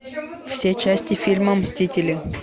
все части фильма мстители